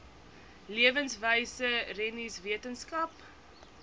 leefwyse rennies wetenskap